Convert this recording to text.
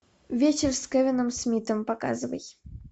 вечер с кевином смитом показывай